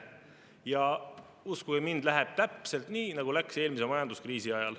Ja uskuge mind, läheb täpselt nii, nagu läks eelmise majanduskriisi ajal.